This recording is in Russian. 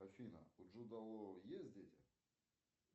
афина у джуда лоу есть дети